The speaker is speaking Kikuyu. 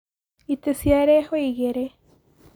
Itĩ ciarehwo igĩrĩ